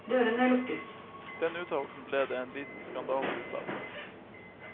Den uttalelsen ble det en liten skandale ut av.